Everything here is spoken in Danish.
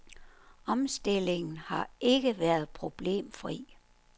Omstillingen har ikke været problemfri.